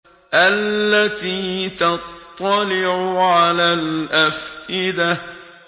الَّتِي تَطَّلِعُ عَلَى الْأَفْئِدَةِ